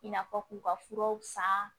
I n'a fɔ k'u ka furaw san